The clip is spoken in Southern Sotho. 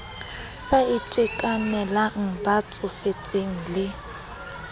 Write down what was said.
sa itekanelang ba tsofetseng le